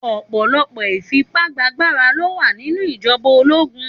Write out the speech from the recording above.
Òpòlòpò ifipàgbáàgbárá ló wá ninú ijòbá ólógún